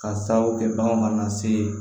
Ka sababu kɛ bagan mana se